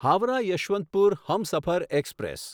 Howrah Yesvantpur Humsafar express